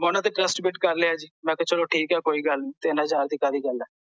ਮੈਂ ਓਹਨਾਂ ਤੇ trust ਕਰ ਲਿਆ ਜੀ ਮੈਂ ਕਿਹਾ ਚਲੋ ਕੋਈ ਗੱਲ ਨਹੀਂ ਤਿੰਨ ਹਜ਼ਾਰ ਰੁਪਏ ਦੀ ਕਾਹਦੀ ਗੱਲ ਆ